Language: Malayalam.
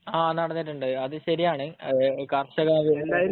ആ നടന്നിട്ടുണ്ട്. അത് ശരിയാണ്. ആഹ് കർഷക